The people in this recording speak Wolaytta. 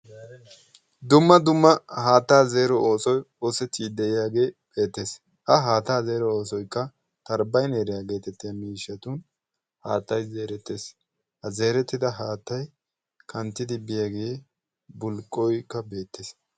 dumma dumma haattaa zeero oosoi xoosettiid de7iyaagee beettees. a haattaa zeero oosoikka tarbbaineeriyaa geetettiya miishshatun haattai zeerettees ha zeerettida haattai kanttidi biyaagee bulqqoikka beettees.